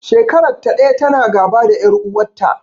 Shekarar ta ɗaya ta na gaba da ƴar uwar ta